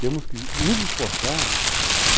Temos que nos esforçar.